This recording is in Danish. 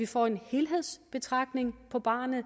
få en helhedsbetragtning på barnet